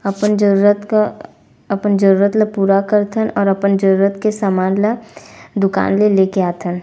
अपन जरुरत का अपन जरुरत ला पूरा करथन और अपन जरुरत का समान ला दुकान ले लेके आथन--